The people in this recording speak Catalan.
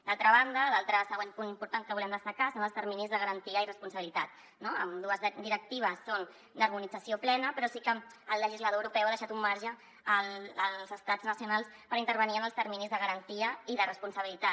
d’altra banda l’altre següent punt important que volem destacar són els terminis de garantia i responsabilitat no ambdues directives són d’harmonització plena però sí que el legislador europeu ha deixat un marge als estats nacionals per intervenir en els terminis de garantia i de responsabilitat